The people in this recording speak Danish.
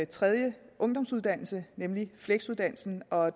tredje ungdomsuddannelse nemlig fleksuddannelsen og